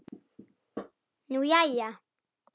Nú, jæja.